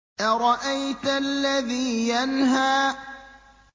أَرَأَيْتَ الَّذِي يَنْهَىٰ